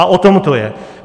A o tom to je.